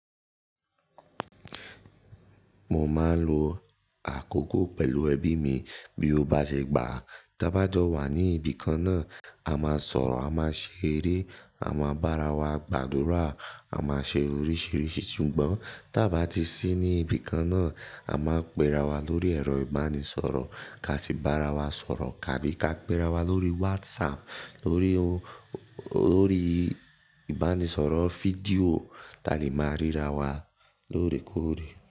Mo máa ń lo àkókò pẹ̀lú ẹbí mi bí ó bá ṣe gbà. Tí a bá jọ wà ní ibi kan náà, a máa sọ̀rọ̀, a máa ṣe eré, a máa bára wa gbàdúrà, a máa ṣe oríṣìíríṣìí sùgbọ́n tí a bá ti sí ní ibi kan náà, a máa ń pe ra wa lórí ẹ̀rọ ìbánisọ̀rọ̀, ká sì bára wa sọ̀rọ̀. Àbí ká pe ra wa lórí WhatsApp, tórí i, lórí ìbánisọ̀rọ̀ fídíò, ta lè máa ríra wa lóòrèkóòrè.